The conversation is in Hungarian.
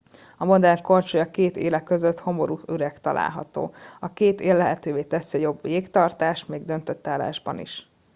a modern korcsolya két éle között homorú üreg található a két él lehetővé teszi a jobb jégtartást még döntött állásban is